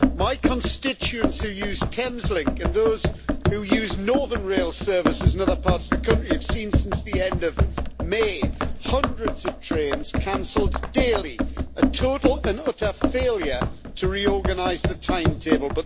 My constituents who use Thames Link and those who use northern rail services in other parts of the country, have seen, since the end of May, hundreds of trains cancelled daily a total and utter failure to reorganise the timetable.